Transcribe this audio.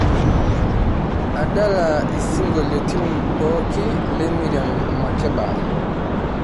adala isingolioitin pooki le miriam makeba